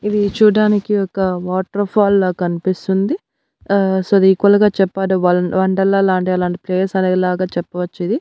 ఇది చూడ్డానికి ఒక వాటర్ ఫాల్ లా కన్పిస్తుంది ఆ సో ఇది ఈక్వల్ గా చెప్పాలి వల్ వండర్లా లాంటిది అలాంటి ప్లేస్ అనే లాగా చెప్పవచ్చు ఇది.